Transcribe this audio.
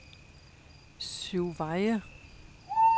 Syvveje